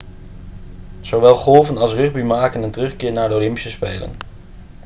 zowel golfen als rugby maken een terugkeer naar de olympische spelen